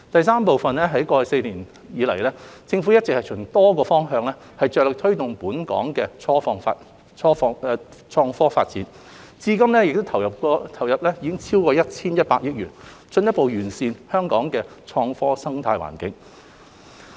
三在過去4年以來，政府一直循多個方向着力推動本港的創科發展，至今已投放超過 1,100 億元，進一步完善本港的創科生態環境。